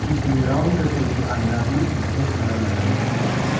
इसमें राउंड करके भी आईना भी बहुत सारा लगाया हुआ है।